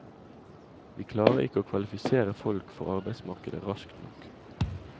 Vi klarer ikke å kvalifisere folk for arbeidsmarkedet raskt nok.